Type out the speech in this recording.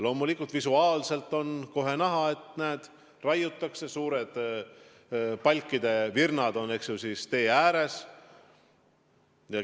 Loomulikult on kohe näha, et näed, raiutakse, suured palkide virnad on tee ääres.